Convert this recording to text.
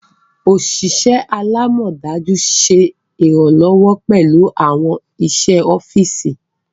Oṣiṣẹ alamọdaju ṣe iranlọwọ pẹlu awọn iṣẹ ọfisi.